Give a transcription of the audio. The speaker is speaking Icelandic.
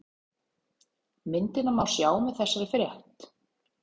Myndina má sjá með þessari frétt